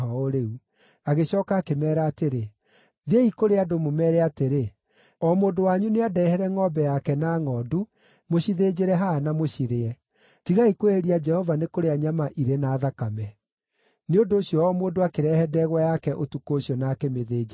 Agĩcooka akĩmeera atĩrĩ, “Thiĩi kũrĩ andũ, mũmeere atĩrĩ, ‘O mũndũ wanyu nĩandehere ngʼombe yake na ngʼondu, mũcithĩnjĩre haha na mũcirĩe. Tigai kwĩhĩria Jehova nĩ kũrĩa nyama irĩ na thakame.’ ” Nĩ ũndũ ũcio o mũndũ akĩrehe ndegwa yake ũtukũ ũcio na akĩmĩthĩnjĩra hau.